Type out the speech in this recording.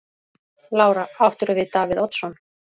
Lára: Áttirðu við Davíð Oddsson?